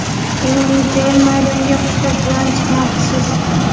Yana necha yil maydonga hushtak bilan chiqmoqchisiz?